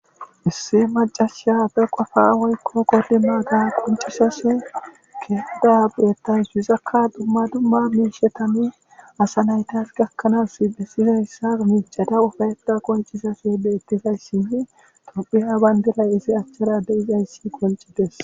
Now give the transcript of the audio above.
Issi macashay be qofa woykko kolima ga koncisas keeeda beettays yuzakka dumma dumma miishetami asa naytas gakkanaas dhesizayssa micada ufayeta koncisase beettizayssinne tophiha bayndiray isi achchara de7izayssi koncisetes.